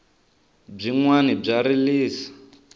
byinwani bya rilisa